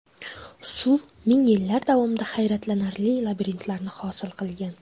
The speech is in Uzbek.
Suv ming yillar davomida hayratlanarli labirintlarni hosil qilgan.